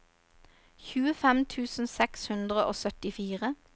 tjuefem tusen seks hundre og syttifire